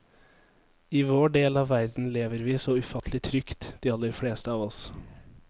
I vår del av verden lever vi så ufattelig trygt, de aller fleste av oss.